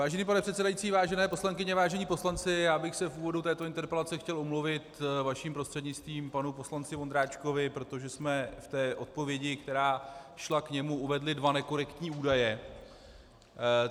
Vážený pane předsedající, vážené poslankyně, vážení poslanci, já bych se v úvodu této interpelace chtěl omluvit vaším prostřednictvím panu poslanci Ondráčkovi, protože jsme v té odpovědi, která šla k němu, uvedli dva nekorektní údaje.